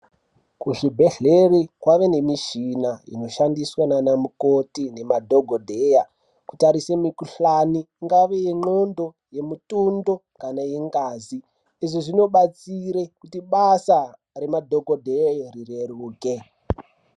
Kuzvibhedhleri kwave nemishina inoshandiswa ndiana mukoti nema dhokodheya, kuningire mikhuhlana, ingave ye ngqondo, yemutundu kana yengazi. Izvi zvinodetsera kuti basa remadhokodheya ureruke.